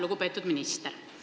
Lugupeetud minister!